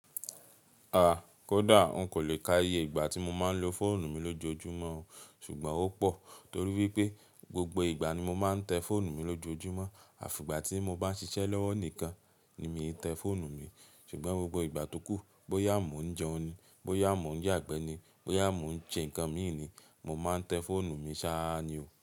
A, kódà n kò le ka iye ìgbà tí mo máa ń lo fóònù mi lójoojúmọ́ o, ṣùgbọ́n ó pọ̀. Torí wípé, gbogbo ìgbà ni mo máa ń tẹ fóònù mi lójoojúmọ́. Àfi ìgbà tí mo bá ń ṣiṣẹ́ lọ́wọ́ nìkan ni mi ò tẹ fóònù mi. Ṣùgbọ́n gbogbo ìgbà tó kù, bóyá mó ń jẹun ni, bóyá mó ń yàgbẹ́ ni, bóyá mó ń ṣe nǹkan mi ni, mo máa ń tẹ fóònù mi sáá ni o.